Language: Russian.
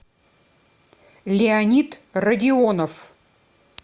леонид радионов